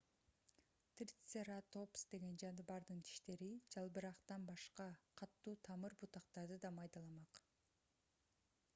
трицератопс деген жаныбардын тиштери жалбырактан башка катуу тамыр бутактарды да майдаламак